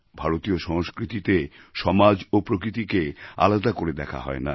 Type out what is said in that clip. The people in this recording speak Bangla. ভারতীয় সংস্কৃতিতে সমাজ ও প্রকৃতিকে আলাদা করে দেখা হয় না